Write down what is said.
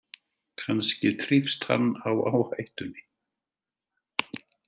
Kannski þrífst hann á áhættunni.